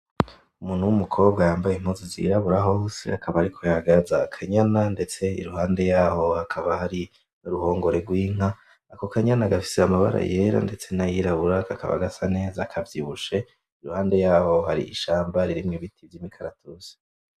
Umuntu w'umukobwa yambaye impuzu zirabura hose akaba ariko yagaza aka nyana ndetse iruhande yaho hakaba hari uruhongore rw'inka. Ako ka nyana gafise amabara yera ndetse na yirabura kakaba gasa neza kavyibushe, iruhande yaho hari ishamba ririmwo ibiti vyimikaratusi.